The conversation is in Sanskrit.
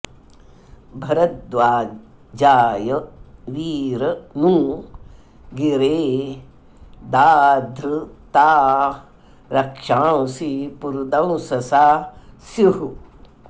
भ॒रद्वा॑जाय वीर॒ नू गि॒रे दा॑द्ध॒ता रक्षां॑सि पुरुदंससा स्युः